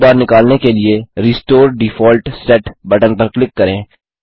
toolbar निकालने के लिए रिस्टोर डिफॉल्ट सेट बटन पर क्लिक करें